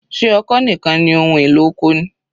Ṣé ọkọ́ nìkan ni ohun èlò oko ni?